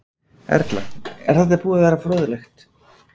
Erla: Er þetta búið að vera fróðlegt?